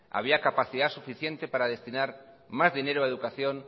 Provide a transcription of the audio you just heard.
había capacidad suficiente para destinar más dinero a educación